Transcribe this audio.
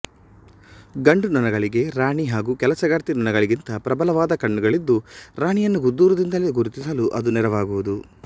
ಗಂಡುನೊಣಗಳಿಗೆ ರಾಣಿ ಹಾಗೂ ಕೆಲಸಗಾರ್ತಿ ನೊಣಗಳಿಗಿಂತ ಪ್ರಬಲವಾದ ಕಣ್ಣುಗಳಿದ್ದು ರಾಣಿಯನ್ನು ದೂರದಿಂದಲೇ ಗುರುತಿಸಲು ಅದು ನೆರವಾಗುವುದು